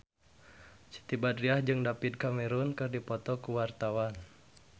Siti Badriah jeung David Cameron keur dipoto ku wartawan